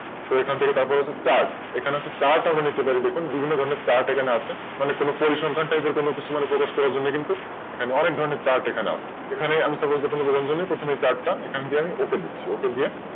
সেখান থেকে তারপরে হচ্ছে Chart chart বিভিন্ন ধরনের হয় দেখুন। বিভিন্ন ধরনের Chart এখানে আছে এখানে কোন পরিসংখ্যা ধরনের মানে সেটা প্রকাশ করার জন্য কিন্তু ওখানে অনেক ধরনের Chart আছে এখানে আমি Supose বললাম ধরুন প্রথমে এই Chart টা এখান থেকে আমি Okay দিচ্ছি Ok দিয়ে আমি